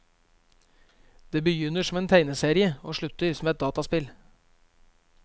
Den begynner som en tegneserie og slutter som et dataspill.